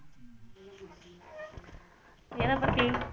எதப்பத்தி